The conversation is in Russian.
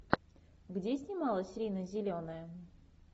где снималась рина зеленая